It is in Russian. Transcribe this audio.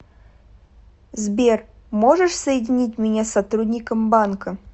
сбер можешь соединить меня с сотрудником банка